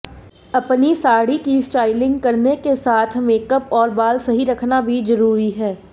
अपनी साड़ी की स्टाइलिंग करने के साथ मेकअप और बाल सही रखना भी जरूरी है